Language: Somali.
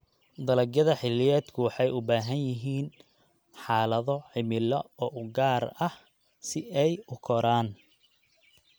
Dalagyada xilliyeedku waxay u baahan yihiin xaalado cimilo oo gaar ah si ay u koraan.